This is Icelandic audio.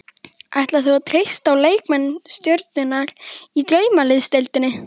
Ætlar þú að treysta á leikmenn stjörnunnar í Draumaliðsdeildinni?